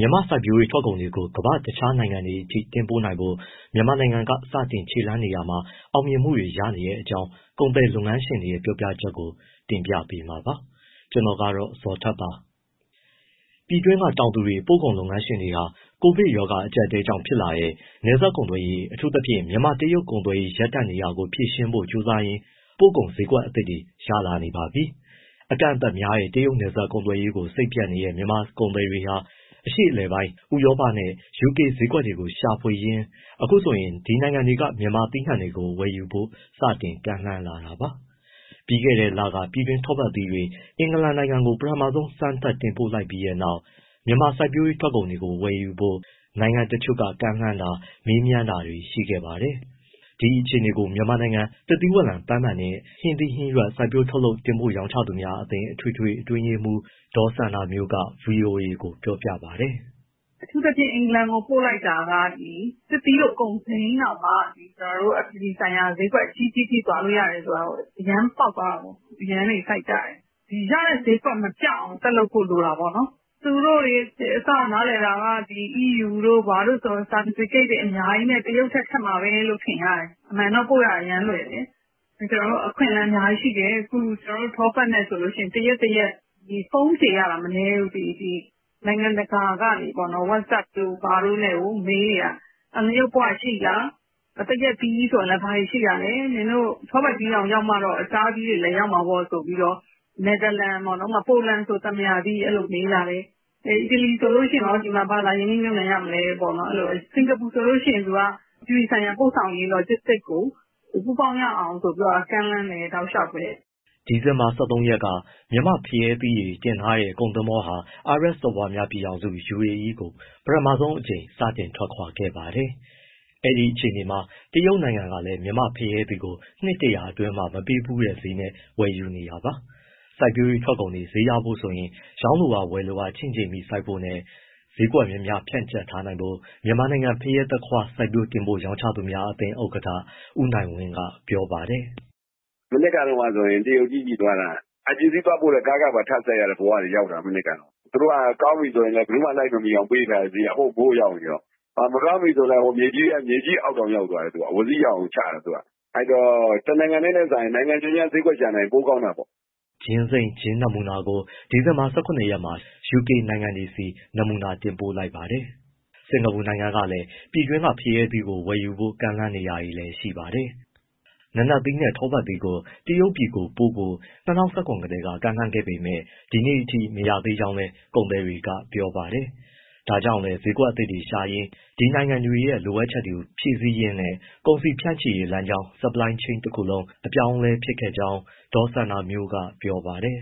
မြန်မာ့စိုက်ပျိုးရေး ထွက်ကုန်တွေကို ကမ္ဘာ့တခြားနိုင်ငံတွေအထိ တင်ပို့နိုင်ဖို့ မြန်မာနိုင်ငံက စတင်ခြေလှမ်းနေတာမှာ အောင်မြင်မှုတွေရနေကြောင်း ကုန်သည်လုပ်ငန်းရှင်တွေရဲ့ ပြောပြချက်ကို ကိုဇော်ထက် က တင်ပြပေးမှာပါ။ ပြည်တွင်းက တောင်သူတွေ၊ ပို့ကုန်လုပ်ငန်းရှင်တွေဟာ ကိုဗစ်အကျပ်အတည်းကြောင့် ဖြစ်လာတဲ့ နယ်စပ်ကုန်သွယ်ရေး အထူးသဖြင့် မြန်မာ- တရုတ် ကုန်သွယ်ရေး ရပ်တန့်နေတာကို ဖြေရှင်းဖို့ကြိုးစားရင်း ပို့ကုန် ဈေးကွက်သစ်တွေ ရလာနေပါပြီ။ အကန့်အသတ်များတဲ့ တရုတ်နယ်စပ် ကုန်သွယ်ရေးကို စိတ်ပျက်နေတဲ့ မြန်မာ ကုန်သည်တွေဟာ အရှေ့အလယ်ပိုင်း၊ ဥရောပနဲ့ ယူကေဈေးကွက်တွေကို ရှာဖွေရင်း အခုဆိုရင် ဒီနိုင်ငံတွေက မြန်မာသီးနှံတွေကို ဝယ်ယူဖို့ စတင်ကမ်းလှမ်းလာတာပါ။ ပြီးခဲ့တဲ့လက ပြည်တွင်း ထောပတ်သီးတွေ အင်္ဂလန်နိုင်ငံကို ပထမဦးဆုံး စမ်းသပ်တင်ပို့လိုက်ပြီးနောက်ပိုင်း မြန်မာစိုက်ပျိုးရေး ထွက်ကုန်တွေကို ဝယ်ယူဖို့ နိုင်ငံတချို့က ကမ်းလှမ်းတာ၊ မေးမြန်းတာတွေ ရှိခဲ့ပါတယ်။ ဒီအခြေအနေကို မြန်မာနိုင်ငံ သစ်သီဝလံ၊ ပန်းမန်နှင့် ဟင်းသီးဟင်းရွက် စိုက်ပျိုးထုတ်လုပ် တင်ပို့ရောင်းချသူများအသင်း အထွေထွေ အတွင်းရေးမှူး ဒေါ်စန္ဒာမျိုးက ဗွီအိုအေကို ပြောပါတယ်။ “အခုလက်ရှိ အင်္ဂလန်ကို ပို့လိုက်တာက သစ်သီးလို ကုန်စိမ်းတောင်မှ ကျနော်တို့ အပြည်ပြည်ဆိုင်ရာ ဈေးကွက် အကြီးကြီးထိ သွားလို့ရတယ်ဆိုတာ အရမ်းပေါက်သွားတော့ အရမ်းတွေ စိုက်ကြတယ်။ ရတဲ့ဈေးကွက် မပျောက်အောင် ဆက်လုပ်ဖို့ လိုတာပေါ့နော်။ သူတို့တွေ အစက နားလည်တာက EU တို့ ဘာတို့ဆို certificate တွေ အများကြီးနဲ့ တရုတ်ထက် ခက်မှာပဲလို့ ထင်ရတယ်။ အမှန်တော့ ပို့ရတာ အရမ်းလွယ်တယ်၊ အခွင့်အလမ်း အများကြီးရှိတယ်၊ ထောပတ်သီးနဲ့ တရက်တရက် ဖုန်းဖြေရတာ မနည်းဘူး၊ နိုင်ငံတကာကနေ What’sUp တို့ ဘာတို့နဲ့ မေးနေတာ။ ငရုပ်ပွရှိလား၊ သရက်သီးဆို ဘာတွေရှိတာလဲ၊ နင်တို့ ထောပတ်သီးတောင်ရမှတော့ တခြားအသီးတွေလည်း ရမှာပေါ့ဆိုပြီးတော့ နယ်သာလန်၊ ဥပမာ ပိုလန်ဆိုရင် သံပုရာသီး အဲလိုမေးလာတယ်။ အီတလီဆိုရင် ဒီမှာ ဘာလာရင်းနှီးမြှုပ်နှံရမလဲ၊ စင်္ကာပူဆိုရင် သူက အပြည်ပြည်ဆိုင်ရာ ပို့ဆောင်ရေး Logistics ကို ပူးပေါင်းရအောင်ဆိုပြီးတော့ ကမ်းလှမ်းတယ်၊ တောက်လျှောက်ပဲ။” ဒီဇင်ဘာ ၁၃ ရက်က မြန်မာ့ဖရဲသီးတွေတင်ထားတဲ့ ကုန်သင်္ဘောဟာ အာရပ်စော်ဘွားများပြည်ထောင်စု UAE ကို ပထမဆုံးအကြိမ် စတင်ထွက်ခွာ ခဲ့ပါတယ်။ အဲဒီအခြေအနေမှာ တရုတ်နိုင်ငံကလည်း မြန်မာ့ဖရဲသီးကို နှစ် ၁၀၀ အတွင်း မပေးဖူးတဲ့ ဈေးနဲ့ဝယ်ယူနေတာပါ။ စိုက်ပျိုးရေးထွက်ကုန်တွေ ဈေးရဖို့ဆိုရင် ရောင်းလိုအား၊ ဝယ်လိုအား ချင့်ချိန်ပြီး စိုက်ဖို့နဲ့ ဈေးကွက်များများ ဖြန့်ကြက်ထားနိုင်ဖို့ မြန်မာနိုင်ငံ ဖရဲ၊ သခွားမွှေး စိုက်ပျိုး၊ တင်ပို့၊ ရောင်းချသူများအသင်း ဥက္ကဋ္ဌ ဦးနိုင်ဝင်းက ပြောပါတယ်။ “မနှစ်ကတုန်းကဆိုရင် တရုတ်ကြီးဆီသွားတာ အဲဒီပစ္စည်းသွားပို့တဲ့ ကားခပါ စိုက်ရတဲ့ဘဝရောက်တာ မနှစ်က။ သူတို့က ကောင်းပြီဆိုရင် ဘယ်သူမှ လိုက်မမီအောင် ပေးထားတဲ့ဈေးက ဟိုးမိုးရောက်နေရော။ မကောင်းပြီဆိုရင်လည်း မြေကြီးအောက်တောင်ရောက်တယ် အဝီစိရောက်အောင်ချတယ်။ အဲဒီတော့ တနိုင်ငံတည်းထက်စာရင် နိုင်ငံများများ ဈေးကွက်ရှာနိုင်ရင် ပိုကောင်းတာပေါ့။” ချင်းစိမ်း နမူနာကို ဒီဇင်ဘာ ၁၇ ရက်နေ့မှာ ယူကေ နိုင်ငံတွေကို နမူနာတင်ပို့လိုက်ပါတယ်။ စင်္ကာပူနိုင်ငံကလည်း ပြည်တွင်းကဖရဲသီးကို ဝယ်ယူဖို့ ကမ်းလှမ်းနေတာလည်း ရှိပါတယ်။ နာနတ်သီးနဲ့ ထောပတ်သီးကို တရုတ်ပြည်ပို့ဖို့ ၂၀၁၇ ကတည်းက ကမ်းလှမ်းခဲ့ပေမဲ့ ဒီနေ့အထိ မရသေးကြောင်း ကုန်သည်တွေက ပြောပါတယ်။ ဒါကြောင့်လည်း ဈေးကွက်သစ်တွေရှာရင်း ဒီနိုင်ငံတွေရဲ့ လိုအပ်ချက်တွေ ဖြည့်ဆည်းရင်းနဲ့ ကုန်စည်ဖြန့်ချိရေးလမ်းကြောင်း တခုလုံး အပြောင်းအလဲဖြစ်ခဲ့ကြောင်း ဒေါ်စန္ဒာမျိုးက ပြောပါတယ်